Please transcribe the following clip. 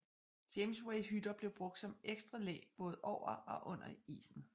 Jamesway hytter blev brugt som ekstra læ både over og under isen